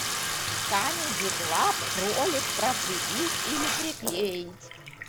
камеди клаб ролик про прибить или приклеить